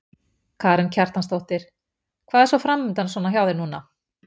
Karen Kjartansdóttir: Og hvað er svona framundan svona hjá þér núna?